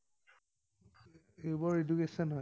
য়ুবৰ education হয়।